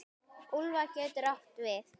Úlfar getur átt við